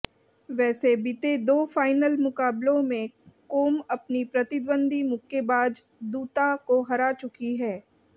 वैसे बीते दो फाइनल मुकाबलों में कोम अपनी प्रतिद्वंद्वी मुक्केबाज दूता को हरा चुकी हैं